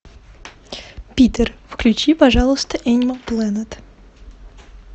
питер включи пожалуйста энимал плэнэт